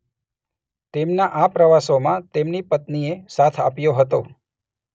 તેમનાં આ પ્રવાસોમાં તેમની પત્નીએ સાથ આપ્યો હતો.